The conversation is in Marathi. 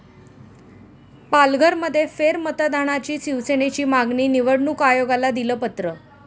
पालघरमध्ये फेरमतदानाची शिवसेनेची मागणी, निवडणूक आयोगाला दिलं पत्र